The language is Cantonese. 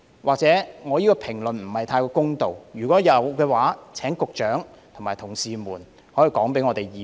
我這番評論或許不太公道，如果有的話，請局長及他的同事告訴議會。